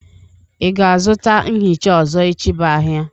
Ị ga-azụta mhịcha ọzọ echi bụ ahịa?